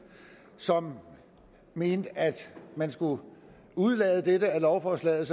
som mente at man skulle udelade dette i lovforslaget